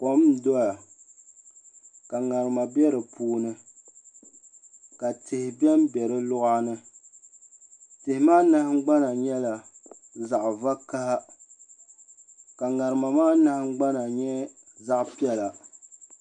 Kom n doya ka ŋarima bɛ di puuni ka tihi bɛnbɛ di luɣa ni tihi maa nahangbana nyɛla zaɣ vakaɣa ka ŋarima maa nahangbana nyɛ zaɣ piɛla